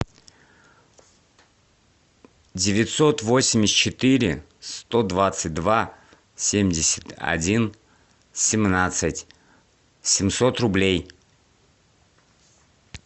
девятьсот восемьдесят четыре сто двадцать два семьдесят один семнадцать семьсот рублей